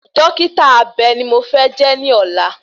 Dọ́kítà abe bi mo fẹ́ jẹ́ ní ọ̀la